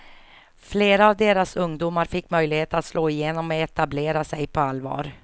Flera av deras ungdomar fick möjlighet att slå igenom och etablera sig på allvar.